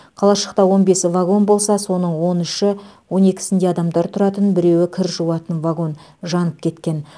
қалашықта он бес вагон болса соның он үші он екісі адамдар тұратын біреуі кір жуатын вагон жанып кеткен